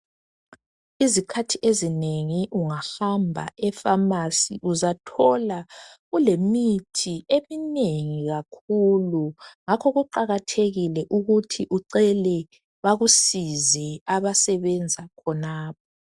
Izikhathi ezinengi ungahamba efamasi uzathola kulemithi eminengi kakhulu ngakho kuqakathekile ukuthi ucele bakusize abasebenza khonapho.